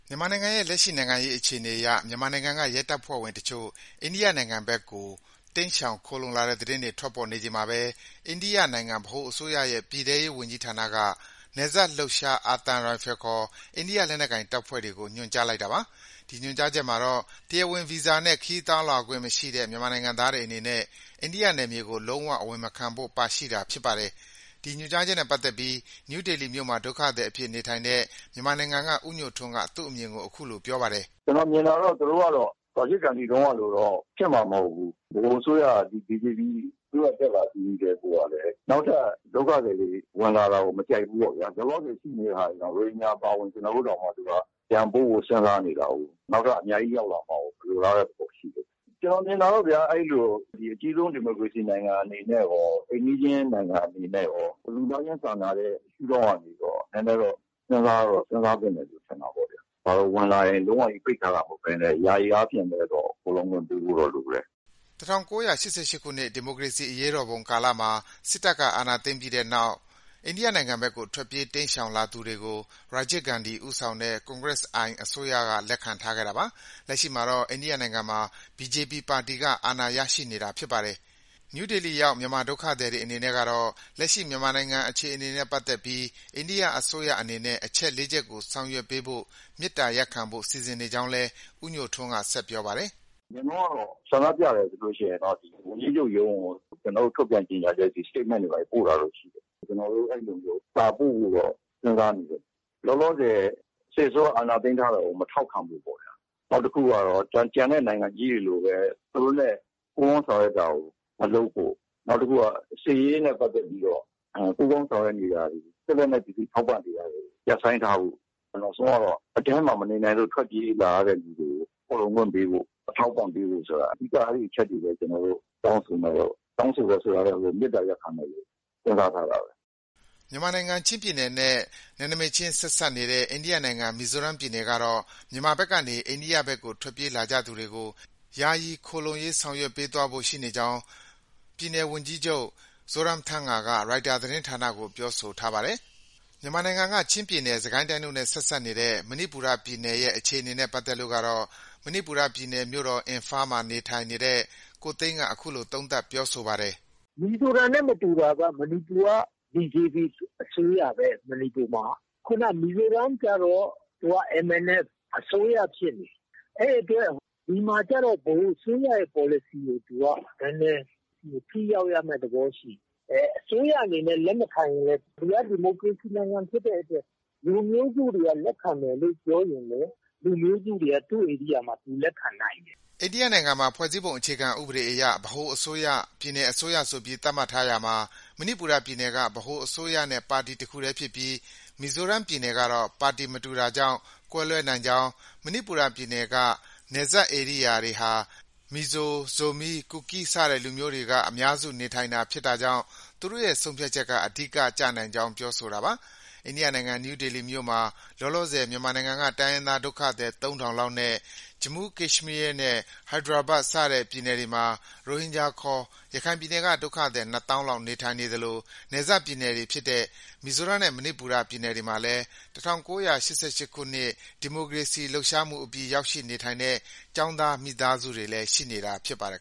မြန်မာနိုင်ငံရဲ့ လက်ရှိ နိုင်ငံရေးအခြေအနေအရ မြန်မာနိုင်ငံက ရဲတပ်ဖွဲ့ဝင်အချို့ အိန္ဒိယနိုင်ငံဘက်ကို တိမ်းရှောင်ခိုလှုံတဲ့သတင်းတွေ ထွက်ပေါ်နေချိန်မှာပဲ အိန္ဒိယနိုင်ငံ ဗဟိုအစိုးရရဲ့ ပြည်ထဲရေးဝန်ကြီးဌာနက နယ်စပ်လှုပ်ရှား အာသံရိုင်ဖယ်ခေါ် အိန္ဒိယလက်နက်ကိုင်တပ်တွေကို ညွှန်ကြားလိုက်တာပါ။ ဒီညွှန်ကြားချက်မှာတော့ တရားဝင်ဗီဇာနဲ့ ခရီးသွားလာခွင့် မရှိတဲ့ မြန်မာနိုင်ငံသားတွေအနေနဲ့ အိန္ဒိယနယ်မြေကို လုံး၀ အဝင်မခံဖို့ ပါရှိတာဖြစ်ပါတယ်။ ဒီညွှန်ကြားချက်နဲ့ပတ်သက်ပြီး နယူးဒေလီမြို့မှာ ဒုက္ခသည်အဖြစ် နေထိုင်တဲ့ မြန်မာနိုင်ငံက ဦးညိုထွန်းက သူ့အမြင်ကို အခုလို ပြောပါတယ်။ “ကျနော်မြင်တာတော့ သူတို့ကတော့ ရာဂျစ်ဂန္ဒီတုန်းကလို ဖြစ်မှာတော့ မဟုတ်ဘူး။ ဗဟိုအစိုးရက ဒီ ဘီဂျေပီ အစိုးရ တက်လာပြီးကတည်းကိုကလည်း နောက်ထပ် ဒုက္ခသည်တွေ ဝင်လာတာကို မကြိုက်ဖူးပေါ့ဗျာ။ လောလောဆယ်ရှိနေတဲ့ ရိုဟင်ဂျာအပါအဝင် ကျနော်တို့တောင် ပြန်ပို့ဖို့ စဉ်းစားနေတာကိုး။ နောက်ထပ် အများကြီး ရောက်လာမှာကို မလိုလားတဲ့ သဘောရှိတယ်။ ကျနော်မြင်တာကတော့ဗျာ... အဲဒီလို အကြီးဆုံး ဒီမိုကရေစီနိုင်ငံအနေနဲ့ရော၊ အိမ်နီးချင်းနိုင်ငံအနေနဲ့ရော၊ လူသားချင်းစာနာတဲ့ ရှုဒေါင့်ကနေရော နည်းနည်းတော့ စဉ်းစားသင့်တယ်လို့ ထင်တာပဲ။ ဝင်လာရင် လုံးဝပြီး ပိတ်ထားတာမဟုတ်ဘဲ ယာယီအားဖြင့်တော့ ခိုလှုံခွင့်ပေးဖို့တော့ လိုတယ်။” ၁၉၈၈ ခုနှစ်ကတော့ ရာဂျစ်ဂန္ဒီဦးဆောင်တဲ့ Congress I အစိုးရလက်ထက်ကတော့ အိန္ဒိယနိုင်ငံကို တိမ်းရှောင်လာတာတွေ ရှိခဲ့တာပါ။ လက်ရှိမှာတော့ အိန္ဒိယနိုင်ငံမှာ BJP ပါတီက အာဏာရနေတာဖြစ်ပါတယ်။ နယူးဒေလီရောက်မြန်မာဒုက္ခသည်တွေအနေနဲ့ကတော့ လက်ရှိ မြန်မာနိုင်ငံအခြေအနေနဲ့ ပတ်သက်ပြီး အိန္ဒိယအစိုးရအနေနဲ့ အချက် ၄ ချက်ကိုဆောင်ရွက်ပေးဖို့ မေတ္တာရပ်ခံဖို့ စီစဉ်နေကြောင်းလည်း ဦးညိုထွန်းက ဆက်ပြောပါတယ်။ “အရင်တုန်းကတော့ ဆန္ဒပြတယ်ဆိုရင်တော့ ဝန်ကြီးချုပ်ရုံးကို ကျနော်တို့ တောင်းဆိုချက်တွေ၊ statement တွေ ပို့တာတော့ ရှိတယ်။ ကျနော်တို့ အဲဒီလိုမျိုး စာပို့ဖို့တော့ စဉ်းစားနေတယ်။ လောလောဆယ် စစ်အစိုးရ အာဏာသိမ်းထားတာကို မထောက်ခံဖို့ပေါ့။ နောက်တစ်ခုကတော့ ကျန်တဲ့ နိုင်ငံကြီးတွေလိုပဲ သူတို့နဲ့ ပူးပေါင်းဆောင်ရွက်တာကို မလုပ်ဖို့၊ နောက်တစ်ခုက စစ်ရေးနဲ့ ပတ်သက်ပြီးတော့ ပူးပေါင်းဆောင်ရွက်နေတာတွေ၊ စစ်လက်နက်ပစ္စည်း ထောက်ပံ့နေတာတွေ ရပ်ဆိုင်းထားဖို့၊ နောက်ဆုံးကတော့ အထဲမှာ မနေနိုင်လို့ ထွက်ပြေးလာတဲ့သူတွေကို ခိုလှုံခွင့်ပေးဖို့၊ အထောက်အပံ့ ပေးဖို့ ဆိုတာ အဓိက အဲဒီအချက်တွေ ကျနော်တို့ တောင်းဆိုမယ်လို့.... တောင်းဆိုမယ်ဆိုတာထက် မေတ္တာရပ်ခံဖို့ စဉ်းစားထားတာပဲ။” မြန်မာနိုင်ငံ ချင်းပြည်နယ်နဲ့ ဆက်စပ်နေတဲ့ အိန္ဒိယနိုင်ငံ မီဇိုရမ်ပြည်နယ်ကတော့ မြန်မာဘက်ကနေ အိန္ဒိယဘက်ကို ထွက်ပြေးလာကြသူတွေကို ယာယီ ခိုလှုံရေး ဆောင်ရွက်ပေးသွားဖို့ ရှိနေကြောင်း ပြည်နယ်အကြီးအကဲ Zoramthanga ရိုက်တာ သတင်းဌာနကို ပြောဆိုထားပါတယ်။ မြန်မာနိုင်ငံက ချင်းပြည်နယ်၊ စစ်ကိုင်းတိုင်းတို့နဲ့ ဆက်စပ်နေတဲ့ မဏိပူရပြည်နယ်ရဲ့ အခြေအနေနဲ့ပတ်သက်လို့တော့ မဏိပူရပြည်နယ် မြို့တော် အင်ဖာမှာ နေထိုင်တဲ့ ကိုသိန်းက အခုလို သုံးသပ်ပြောဆိုပါတယ်။ “မီဇိုရမ်နဲ့ မတူတာက BJP အစိုးရပဲ မဏိပူမှာက။ ခုနက မီဇိုရမ်ကျတော့ MNF အစိုးရဖြစ်နေတာ။ အဲဒီအတွက် ဒီမှာကျတော့ ဗဟိုအစိုးရရဲ့ ပေါ်လစီကို နည်းနည်း ထိရောက်ရမယ့် သဘောရှိတယ်။ အဲဒီ အစိုးရအနေနဲ့ လက်မခံရင်လည်း ဒီက ဒီမိုကရေစီနိုင်ငံဖြစ်တဲ့အတွက် လူမျိုးစုတွေက လက်ခံမယ်လို့ ပြောရင်လည်း လူမျိုးစုတွေက သူ့ ဧရိယာမှာ သူလက်ခံနိုင်တယ်။” အိန္ဒိယနိုင်ငံမှာ ဖွဲ့စည်းပုံအခြေခံဥပဒေအရ ဗဟိုအစိုးရ၊ ပြည်နယ်အစိုးရဆိုပြီး သတ်မှတ်ထားရာမှာ မဏိပူရပြည်နယ်က ဗဟိုအစိုးရနဲ့ ပါတီတစ်ခုတည်းဖြစ်ပြီး မီဇိုရမ်ကတော့ ပါတီမတူတာကြောင့် ကွဲလွဲနိုင်ကြောင်း၊ မဏိပူရပြည်နယ်က နယ်စပ်ဧရိယာတွေဟာ မီဇို၊ ဇိုမီး၊ ကူကီး စတဲ့ လူမျိုးစုတွေ အများစုနေထိုင်တာကြောင့် သူတို့ရဲ့ ဆုံးဖြတ်ချက်က အဓိက ကျနိုင်ကြောင်း ပြောဆိုတာပါ။ အိန္ဒိယနိုင်ငံ နယူးဒေလီမြို့မှာ လောလောဆယ် မြန်မာနိုင်ငံက တိုင်းရင်းသားဒုက္ခသည် ၃,၀၀၀ လောက်နဲ့ ဂျမူး၊ ကက်ရှ်မီးယားနဲ့ ဟိုက်ဒရာဘတ် စတဲ့ ပြည်နယ်တွေမှာ ရိုဟင်ဂျာခေါ် ရခိုင်ပြည်နယ်က ဒုက္ခသည် ၂၀,၀၀၀ လောက် နေထိုင်နေသလို နယ်စပ်ပြည်နယ်တွေဖြစ်တဲ့ မီဇိုရမ်နဲ့ မဏိပူရပြည်နယ်တွေမှာလည်း ၁၉၈၈ ခုနှစ် ဒီမိုကရေစီရေးလှုပ်ရှားမှုအပြီး ရောက်ရှိနေထိုင်တဲ့ ကျောင်းသား မိသားစုတွေလည်း ရှိနေတာဖြစ်ပါတယ်